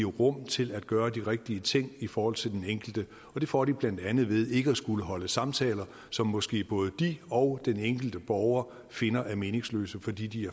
rum til at gøre de rigtige ting i forhold til den enkelte og det får de blandt andet ved ikke at skulle holde samtaler som måske både de og den enkelte borger finder er meningsløse fordi de